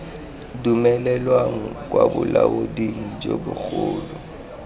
dumelelwang kwa bolaoding jo bogolo